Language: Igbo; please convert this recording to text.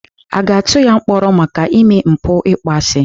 A ga-atụ ya mkpọrọ maka ime mpụ ịkpọasị?